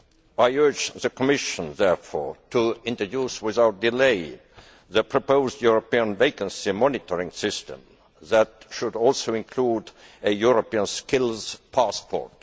I urge the Commission, therefore, to introduce without delay the proposed European Vacancy Monitoring System, which should also include a European skills passport.